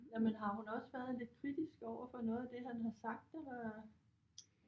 Jamen har hun også været lidt kritisk overfor noget af det han har sagt eller